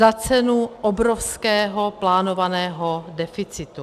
Za cenu obrovského plánovaného deficitu.